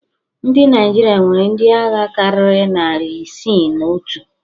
Ndị naịjirịa nwere ndị agha karịrị nari isii na otu